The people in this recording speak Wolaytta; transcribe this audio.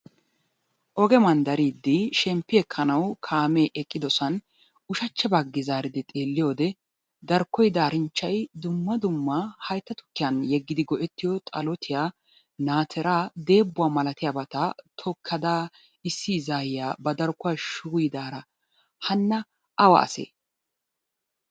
oge mandariidi shemppi ekkanawu kaamee eqqidosan ushachcha baggi zaaridi xeelliyoode darkkoy daarinchchay dumma dumma haytta tukkiyan yeggidi go'ettiyo xallottiya, naatiraa, deebbuwa malattiyabata tokkada issi izzaaya ba darkkuwa shuuyidaara hanna awa asee?